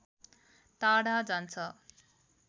टाढा जान्छ